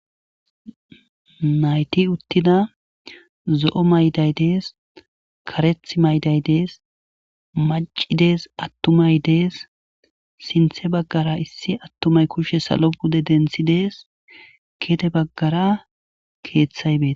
nayti uttida zo7o mayday dees kareth mayday dees macidees attumay dees sinthe baggara issi attumay kushshe salo bude denthi dees kede baggara keeththay bet